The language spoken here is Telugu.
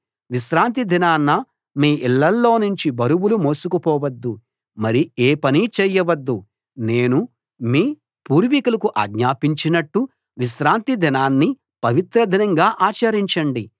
విశ్రాంతి దినాన మీ ఇళ్ళలోనుంచి బరువులు మోసుకుపోవద్దు మరి ఏ పనీ చేయవద్దు నేను మీ పూర్వీకులకు ఆజ్ఞాపించినట్టు విశ్రాంతి దినాన్ని పవిత్ర దినంగా ఆచరించండి